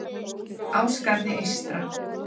Ásgarði eystra